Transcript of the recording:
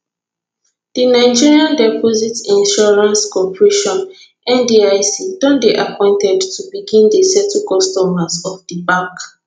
di nigeria deposit insurance corporation ndic don dey appointed to begin dey settle customers of di bank